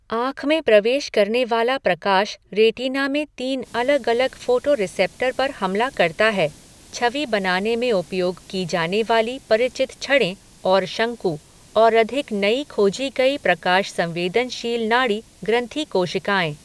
आँख में प्रवेश करने वाला प्रकाश रेटिना में तीन अलग अलग फोटोरिसेप्टर पर हमला करता है छवि बनाने में उपयोग की जाने वाली परिचित छड़ें और शंकु और अधिक नई खोजी गई प्रकाश संवेदनशील नाड़ी ग्रन्थि कोशिकाएँ।